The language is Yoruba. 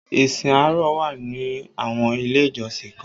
Ìsìn àárọ̀ wà ni àwọn ilé ìjọsìn kan